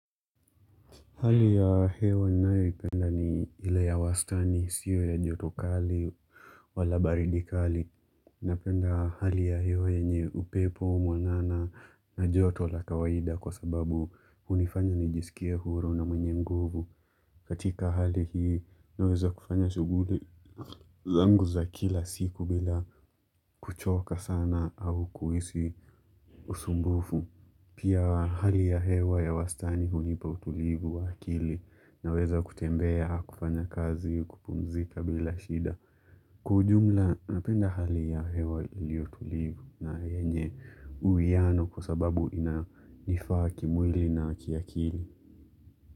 Hali ya hewa ninayoipenda ni ile ya wastani isiwe ya joto kali wala baridi kali. Napenda hali ya hewa yenye upepo mwanana na joto la kawaida kwa sababu hunifanya nijisikie huru na mwenye nguvu. Katika hali hii naweza kufanya shughuli zangu za kila siku bila kuchoka sana au kuhisi usumbufu. Pia hali ya hewa ya wastani hunipa utulivu wa akili naweza kutembea kufanya kazi kupumzika bila shida. Kwa ujumla napenda hali ya hewa iliotulivu na yenye uwiano kwa sababu inanifaa kimwili na kiakili.